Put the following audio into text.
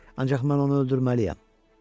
Ancaq mən onu öldürməliyəm.